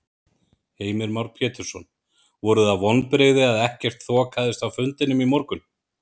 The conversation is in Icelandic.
Heimir Már Pétursson: Voru það vonbrigði að ekkert þokaðist á fundinum í morgun?